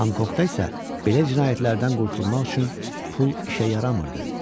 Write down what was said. Honkonqda isə belə cinayətlərdən qurtulmaq üçün pul işə yaramırdı.